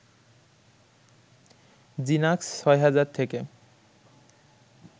জিনাক্স ৬ হাজার থেকে